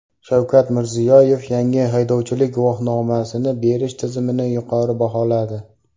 Shavkat Mirziyoyev yangi haydovchilik guvohnomasini berish tizimini yuqori baholadi.